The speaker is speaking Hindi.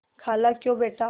खालाक्यों बेटा